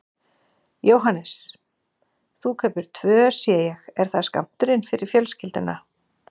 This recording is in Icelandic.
Jóhannes: Þú kaupir tvö sé ég, er það skammturinn fyrir fjölskylduna?